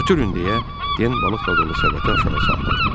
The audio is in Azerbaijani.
"Götürün!" deyə Den balıqla dolu səbəti aşağı salladı.